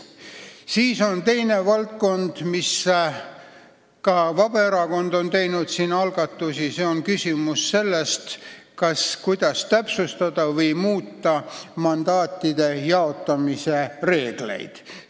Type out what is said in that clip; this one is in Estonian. Teiseks – siin on ka Vabaerakond algatusi teinud –, küsimus, kas ja kuidas täpsustada või muuta mandaatide jaotamise reegleid.